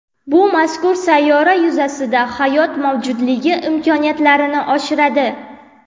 Bu mazkur sayyora yuzasida hayot mavjudligi imkoniyatlarini oshiradi.